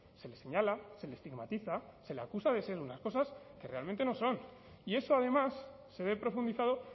se les señala se le estigmatiza se le acusa de ser unas cosas que realmente no son y eso además se ve profundizado